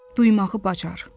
Duymağı bacar.